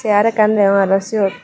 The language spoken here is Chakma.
tey arow ekkan deyong arow siyot.